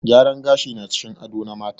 Gyaran gashi na cikin ado na mata.